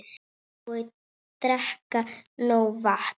Og drekka nóg vatn.